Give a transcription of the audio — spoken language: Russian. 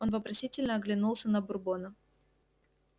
он вопросительно оглянулся на бурбона